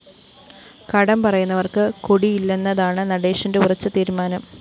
കടം പറയുന്നവര്‍ക്ക്‌ കൊടിയില്ലെന്നതാണ്‌ നടേശന്റെ ഉറച്ച തീരുമാനം